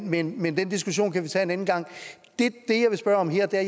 men den diskussion kan vi tage en anden gang